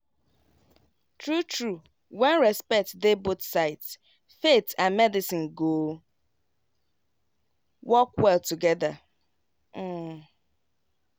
true true when respect dey both sides faith and medicine go work well together. um